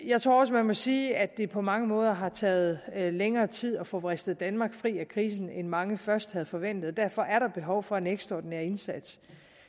jeg tror også man må sige at det på mange måder har taget længere tid at få vristet danmark fri af krisen end mange først havde forventet derfor er der behov for en ekstraordinær indsats